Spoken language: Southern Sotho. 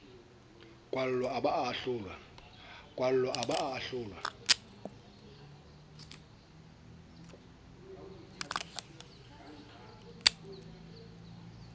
kwallwa a ba a ahlolwa